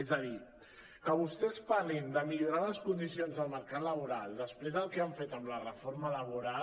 és a dir que vostès parlin de mi·llorar les condicions del mercat laboral després del que han fet amb la reforma labo·ral